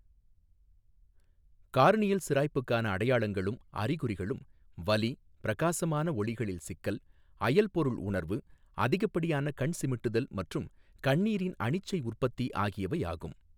Corneal சிராய்ப்புக்கான அடையாளங்களும் அறிகுறிகளும் வலி, பிரகாசமான ஒளிகளில் சிக்கல், அயல்பொருள் உணர்வு, அதிகப்படியான கண் சிமிட்டுதல் மற்றும் கண்ணீரின் அனிச்சை உற்பத்தி ஆகியவை ஆகும்.